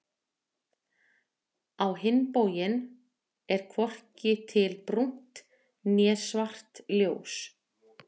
Á hinn bóginn er hvorki til brúnt né svart ljós.